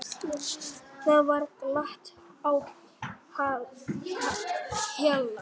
Þá var glatt á hjalla.